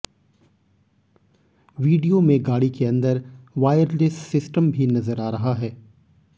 video में गाड़ी के अंदर वायरलेस सिस्टम भी नजर आ रहा है